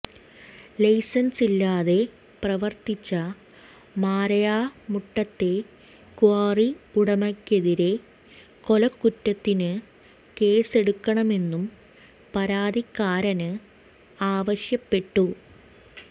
ലൈസന്സില്ലാതെ പ്രവര്ത്തിച്ച മരായമുട്ടത്തെ ക്വാറി ഉടമയ്ക്കെതിരെ കൊലക്കുറ്റത്തിന് കേസെടുക്കണമെന്നും പരാതിക്കാരന് ആവശ്യപ്പെട്ടു